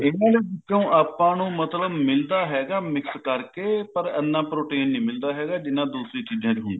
ਇਹਨਾਂ ਵਿੱਚੋ ਆਪਾਂ ਨੂੰ ਮਤਲਬ ਮਿਲਦਾ ਹੈਗਾ mix ਕਰਕੇ ਪਰ ਇਹਨਾਂ protein ਨਹੀਂ ਮਿਲਦਾ ਹੈਗਾ ਜਿੰਨਾ ਦੂਸਰੀ ਚੀਜਾਂ ਚ ਹੁੰਦਾ